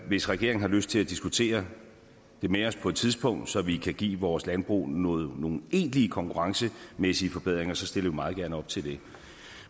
hvis regeringen har lyst til at diskutere det med os på et tidspunkt så vi kan give vores landbrug nogle nogle egentlige konkurrencemæssige forbedringer stiller vi meget gerne op til det